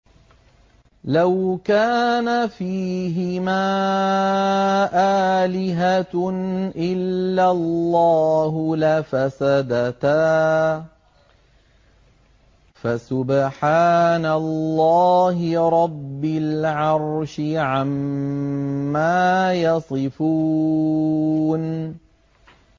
لَوْ كَانَ فِيهِمَا آلِهَةٌ إِلَّا اللَّهُ لَفَسَدَتَا ۚ فَسُبْحَانَ اللَّهِ رَبِّ الْعَرْشِ عَمَّا يَصِفُونَ